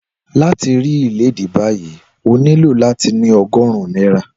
Láti ra ìléèdí báyìí, o nílò láti ní ogórún náírà.